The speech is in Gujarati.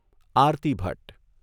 આરતી ભટ્ટ